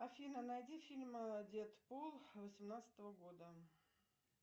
афина найди фильм дедпул восемнадцатого года